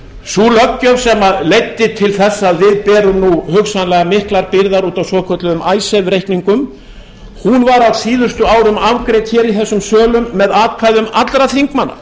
sú löggjöf sem leiddi til þess að við berum nú hugsanlega miklar byrðar út af svokölluðum icesave reikningum var á síðustu árum afgreidd hér í þessum sölum með atkvæðum allra þingmanna